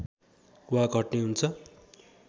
वा घट्ने हुन्छ